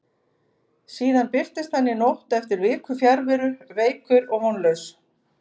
Síðan birtist hann í nótt eftir viku fjarveru, veikur og vonlaus.